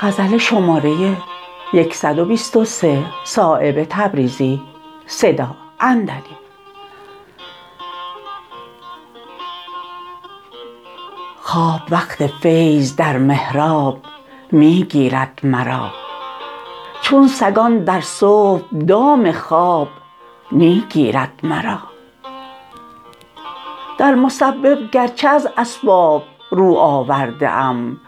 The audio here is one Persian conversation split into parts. خواب وقت فیض در محراب می گیرد مرا چون سگان در صبح دام خواب می گیرد مرا در مسبب گر چه از اسباب رو آورده ام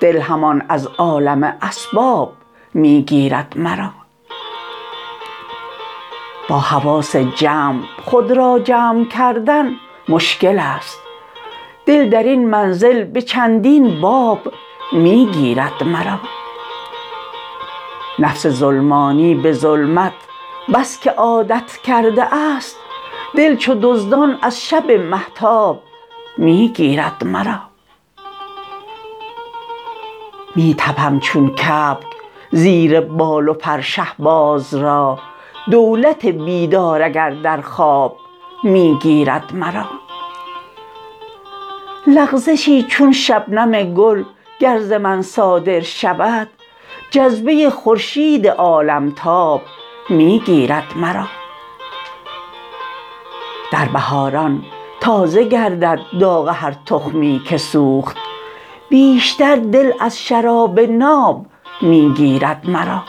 دل همان از عالم اسباب می گیرد مرا با حواس جمع خود را جمع کردن مشکل است دل درین منزل به چندین باب می گیرد مرا نفس ظلمانی به ظلمت بس که عادت کرده است دل چو دزدان از شب مهتاب می گیرد مرا می تپم چون کبک زیر بال و پر شهباز را دولت بیدار اگر در خواب می گیرد مرا لغزشی چون شبنم گل گر ز من صادر شود جذبه خورشید عالمتاب می گیرد مرا در بهاران تازه گردد داغ هر تخمی که سوخت بیشتر دل از شراب ناب می گیرد مرا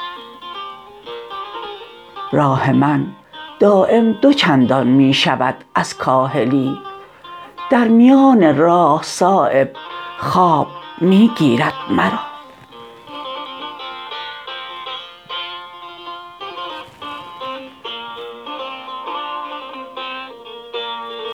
راه من دایم دو چندان می شود از کاهلی در میان راه صایب خواب می گیرد مرا